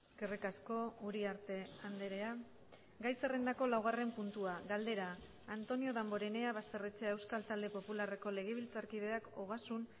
eskerrik asko uriarte andrea gai zerrendako laugarren puntua galdera antonio damborenea basterrechea euskal talde popularreko legebiltzarkideak ogasun